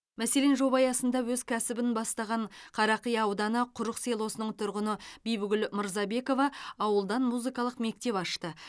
мәселен жоба аясында өз кәсібін бастаған қарақия ауданы құрық селосының тұрғыны бибігүл мырзабекова ауылдан музыкалық мектеп ашты